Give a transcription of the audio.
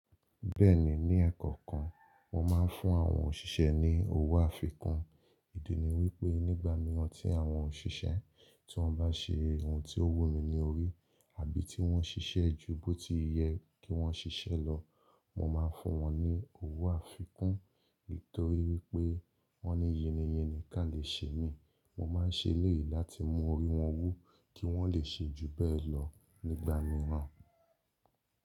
Bẹ́ẹ̀ni, ní ẹ̀ẹ̀kankan, mo máa ń fún àwọn òṣìṣẹ́ ní owó àfikún. Ìdí ni wípé nígbà mìíràn tí àwọn òṣìṣẹ́ tí wọ́n bá ṣe ohun tí ó wù mí ní orí àbí tí wọ́n ṣiṣẹ́ ju bó ti i yẹ kí wọ́n ṣiṣẹ́ lọ, mo máa ń fún wọn ní owó àfikún. Nítorí wípé wọ́n ni yinni yinni kí a lè ṣe mí, mo máa ń ṣe elèyí láti mú orí wọn wú kí wọ́n lè ṣe ju bẹ́ẹ̀ lọ nígbà mìíràn.